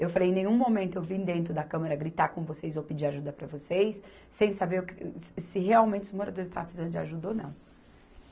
Eu falei, em nenhum momento eu vim dentro da câmara gritar com vocês ou pedir ajuda para vocês, sem saber o que, se se realmente os moradores estavam precisando de ajuda ou não.